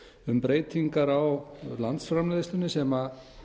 um breytingar á landsframleiðslunni sem